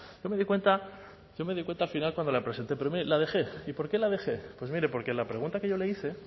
yo me di cuenta al final cuando la presenté pero mire la dejé y por qué la dejé mire porque la pregunta que yo le hice